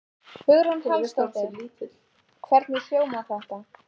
Hugrún Halldórsdóttir: Hvernig hljómar þetta?